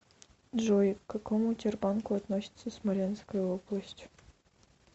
джой к какому тербанку относится смоленская область